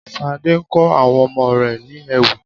Sade kọ àwọn ọmọ rẹ̀ ní ewì